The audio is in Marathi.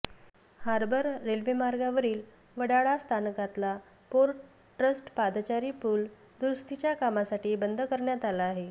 हार्बर रेल्वे मार्गावरील वडाळा स्थानकातला पोर्ट ट्रस्ट पादचारी पूल दुरुस्तीच्या कामसाठी बंद करण्यात आला आहे